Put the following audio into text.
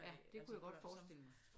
Ja det kunne jeg godt forestille mig